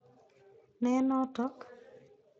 Ne notok?